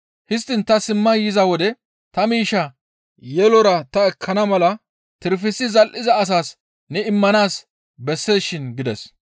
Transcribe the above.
Histtiin ta simma yiza wode ta miishshaa yelora ta ekkana mala tirpisi zal7iza asas ne immanaas besseesishin› gides.